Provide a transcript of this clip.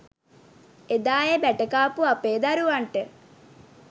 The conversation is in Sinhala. එදා ඒ බැට කාපු අපේ දරුවන්ට.